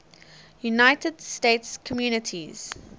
united states communities